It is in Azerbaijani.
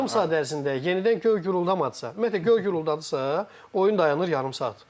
Yarım saat ərzində yenidən göy guruldamadısa, ümumiyyətlə göy guruldadısa, oyun dayanır yarım saat.